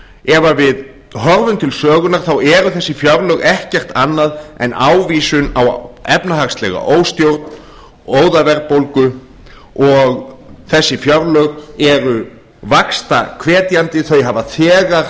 ef við horfum til sögunnar þá eru þessi fjárlög ekkert annað en ávísun á efnahagslega óstjórn óðaverðbólgu og þessi fjárlög eru vaxtahvetjandi þau hafa þegar